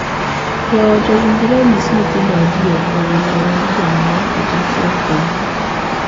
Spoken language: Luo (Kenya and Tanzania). Joot owinjore onyis nyithindo adieri e wii thoo mar janyuol kata achiel kuomgi.